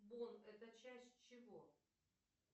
бон это часть чего